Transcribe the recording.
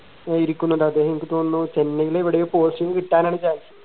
ഇരിക്കുന്നുണ്ട് അദ്ദേഹം എനിക്ക് തോന്നുന്നു ചെന്നൈയിൽ എവിടെയോ posting കിട്ടാനാണ് chance